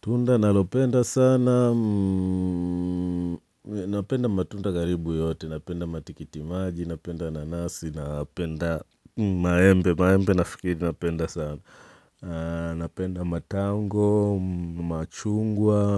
Tunda nalopenda sana, napenda matunda karibu yote, napenda matikitimaji, napenda nanasi, napenda maembe, maembe nafikiri napenda sana. Napenda matango, machungwa,